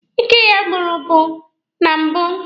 Ike ya buru ibu na mbụ